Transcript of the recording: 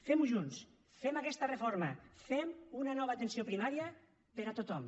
fem ho junts fem aquesta reforma fem una nova atenció primària per a tothom